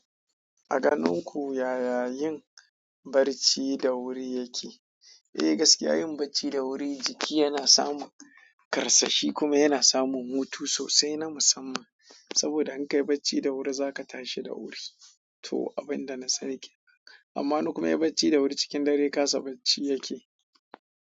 A ganin ku yaya yin barci da wuri yake? Eh gaskiya yin barci da wuri, jiki yana samu ƙarsashi kuma yana samu hutu sosai na musamman. Saboda in kayi barci da wuri, za ka tashi da wuri. To abin da na sani kenan. Amma wani kuma in yayi barci da wuri cikin dare kasa barci yake.